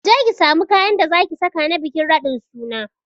Kije ki samu kayan da zaki saka na bikin raɗin suna